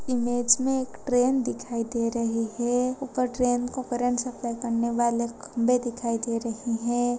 Image में एक train दिखाई दे रही है। ऊपर ट्रेन को करंट सप्लाई करने वाले खम्बे दिखाई दे रहे हैं।